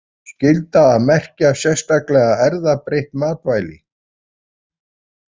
Skylda að merkja sérstaklega erfðabreytt matvæli